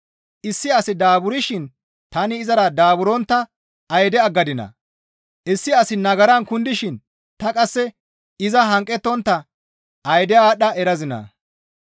Issi asi daaburshin tani izara daaburontta ayde aggadinaa? Issi asi nagaran kundishin ta qasse iza hanqettontta ayde aadhdha erazinaa?